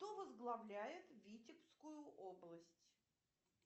кто возглавляет витебскую область